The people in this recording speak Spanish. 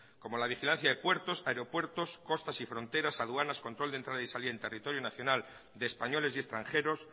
como la vigilancia de puertos aeropuertos costas y fronteras aduanas control de entrada y salida en territorio nacional de españoles y extranjeros